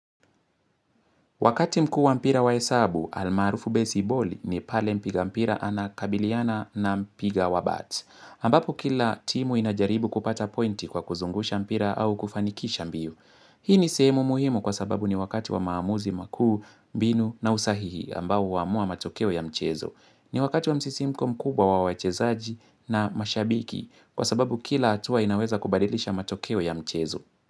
Wakati mkuu wa mpira waesabu, almarufu baseball ni pale mpiga mpira ana kabiliana na mpiga wa bat. Ambapo kila timu inajaribu kupata pointi kwa kuzungusha mpira au kufanikisha mbio. Hii ni seemu muhimu kwa sababu ni wakati wa maamuzi makuu, mbinu na usahihi ambao uamua matokeo ya mchezo. Ni wakati wa msisimko mkubwa wa wachezaji na mashabiki kwa sababu kila atua inaweza kubadilisha matokeo ya mchezo.